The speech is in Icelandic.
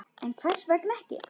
En hvers vegna ekki?